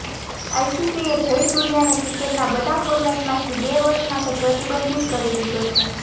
આઇસીસીએ જયસૂર્યાને ક્રિકેટના બધા ફોર્મેટમાંથી બે વર્ષ માટે પ્રતિબંધિત કરી દીધો છે